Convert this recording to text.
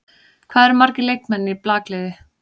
Hvað eru margir leikmenn í blakliði?